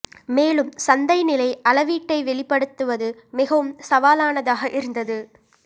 மேலும் சந்தை நிலை அளவீட்டை வெளிப்படுத்துவது மிகவும் சவாலானதாக இருந்தது